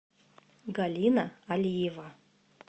галина алиева